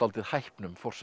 hæpnum forsendum